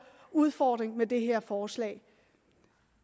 udfordring med det her forslag